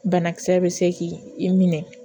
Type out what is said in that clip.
Banakisɛ bɛ se k'i minɛ